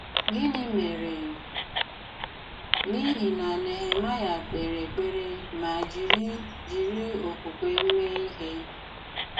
Gịnị̀ mèrè n’ihi na Nehemayà k̀pèrè èkpèrè ma jiri jiri okwùkwè mee ihe?